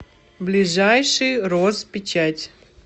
ближайший розпечать